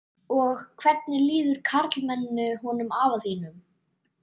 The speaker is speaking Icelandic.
Og hvernig líður karlmenninu honum afa þínum?